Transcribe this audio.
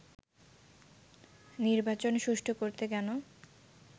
নির্বাচন সুষ্ঠু করতে কেন